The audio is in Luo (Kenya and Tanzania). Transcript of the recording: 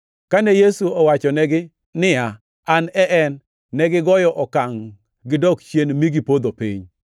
Kane Yesu owachonegi niya, “An e En,” negigoyo okangʼ gidok chien mi gipodho piny.